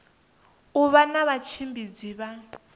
u vha na vhatshimbidzi vha